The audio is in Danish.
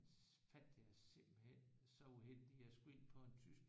Faldt jeg simpelthen så uheldigt jeg skulle ind på en tysk